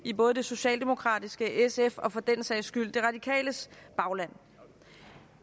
i både det socialdemokratiske i sfs og for den sags skyld de radikales bagland